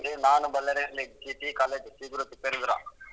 ರೀ ನಾನೂ ಬಳ್ಳಾರಿ ಅಲ್ಲಿ . college